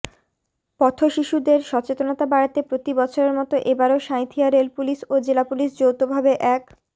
পথ শিশুদের সচেতনতা বাড়াতে প্রতি বছরের মতো এবারও সাঁইথিয়া রেলপুলিশ ও জেলাপুলিশ যৌথভাবে এক